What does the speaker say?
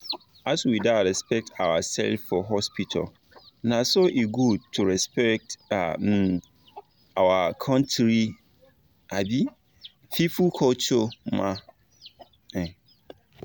as we da respect ourself for hospital na so e good to respect um our country um people culture ma um